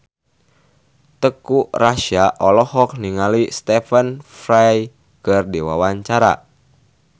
Teuku Rassya olohok ningali Stephen Fry keur diwawancara